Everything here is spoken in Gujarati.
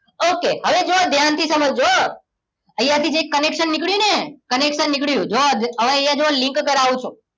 Okay હવે જુઓ ધ્યાનથી સમજજો હો અહીંયા થી જે connection નીકળ્યું ને connection નીકળ્યું જુઓ હવે અહીંયા જુઓ link કરાવું છું